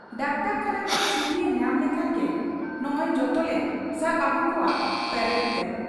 ᱰᱟᱠᱛᱚᱨᱠᱷᱟᱱᱟ ᱠᱷᱚᱱ ᱪᱷᱩᱴᱤᱭᱮ ᱧᱟᱢ ᱞᱮᱠᱷᱟᱱ ᱜᱮ ᱱᱚᱠᱚ ᱡᱚᱛᱚᱞᱮ ᱥᱟᱵ ᱟᱹᱜᱩ ᱠᱚᱣᱟ ᱯᱟᱨᱮᱰ ᱛᱮ ᱾